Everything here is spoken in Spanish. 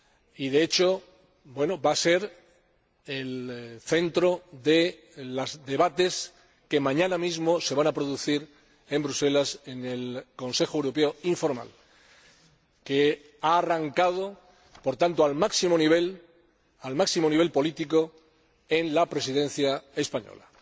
y, de hecho, va a ser el centro de los debates que mañana mismo se van a producir en Bruselas en el Consejo Europeo informal, que ha arrancado, por tanto, al máximo nivel político en la Presidencia española.